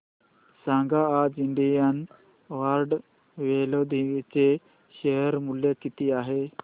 सांगा आज Indian card clothing चे शेअर मूल्य किती आहे